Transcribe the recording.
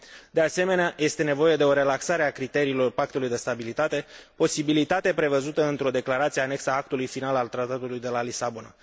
De asemenea, este nevoie de o relaxare a criteriilor Pactului de Stabilitate, posibilitate prevăzută într o declarație anexată actului final al Tratatului de la Lisabona.